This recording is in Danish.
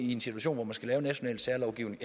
i en situation hvor man skal lave national særlovgivning